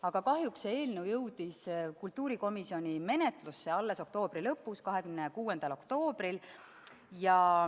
Aga kahjuks jõudis see eelnõu kultuurikomisjoni menetlusse alles oktoobri lõpus, 26. oktoobril.